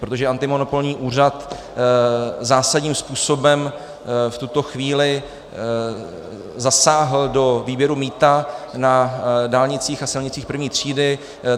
Protože antimonopolní úřad zásadním způsobem v tuto chvíli zasáhl do výběru mýta na dálnicích a silnicích I. třídy.